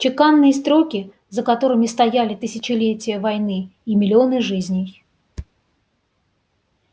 чеканные строки за которыми стояли тысячелетия войны и миллионы жизней